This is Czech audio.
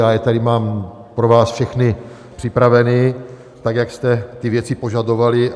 Já je tady mám pro vás všechny připraveny, tak jak jste ty věci požadovali.